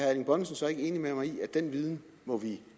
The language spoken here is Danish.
erling bonnesen så ikke enig med mig i at den viden må vi